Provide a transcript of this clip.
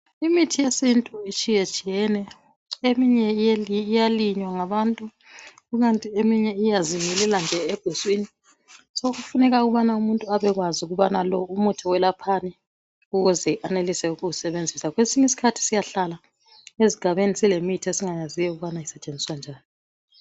Imithi yesintu itshiyetshiyene eminye iyalinywa ngabantu ikanti eminye iyazimilela nje eguswini. Sokufuneka ukuthi umuntu abekwazi ukuthi lo umuthi welaphani ukuze anelise ukuwusebenzisa. Kwesinye isikhathi siyahla esigabeni singakwazi ukubana isetshenziswa njani.